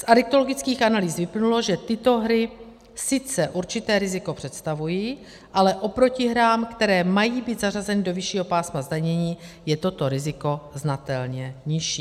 Z adiktologických analýz vyplynulo, že tyto hry sice určité riziko představují, ale oproti hrám, které mají být zařazeny do vyššího pásma zdanění, je toto riziko znatelně nižší.